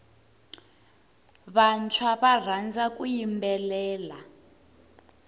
vantshwa va rhandza ku yimbelela